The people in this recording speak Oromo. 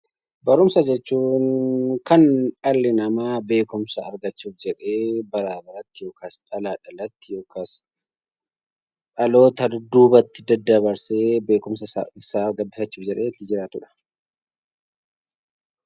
Barumsa jechuun kan dhalli namaa beekumsa argachuuf jedhee dhalaa dhalatti yookiis dhaloota dudduubaatti daddabarsee beekumsa isaa gabbifachuuf jedhee itti jiraatudha.